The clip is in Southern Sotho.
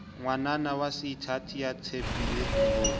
ngwananyana waseithati ya tshepileng ho